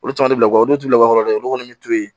Olu caman bɛ bila kɔ olu t'u lakɔlɔlen olu kɔni bɛ to yen